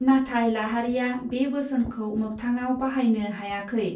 नाथाय लाहारीया बे बोसोनखो मागथाङाव बाहायनो हायाखै.